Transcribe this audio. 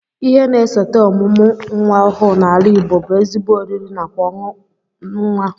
Ihe na-esote ọmụmụ nnwa ọhụụ n'ala Igbo bụ ezigbo oriri nakwa ọṅụ nnwa